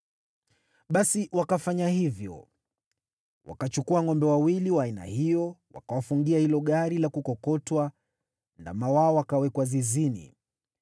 Basi wakafanya hivyo. Wakachukua ngʼombe wawili wa aina hiyo, wakawafungia hilo gari la kukokotwa, nao ndama wao wakawekwa zizini.